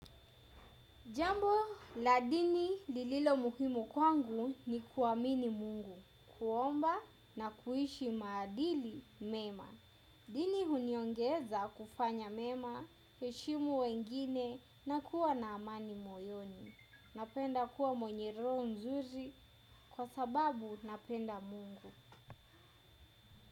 Jambo la dini lililo muhimu kwangu ni kuamini mungu, kuomba na kuishi maadili mema. Dini huniongeza kufanya mema, kuheshimu wengine na kuwa na amani moyoni. Napenda kuwa mwenye roho nzuri kwa sababu napenda mungu.